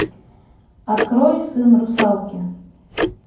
открой сын русалки